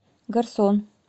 гарсон